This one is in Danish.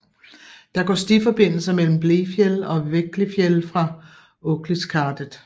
Der går stiforbindelser mellem Blefjell og Vegglifjell fra Åkliskardet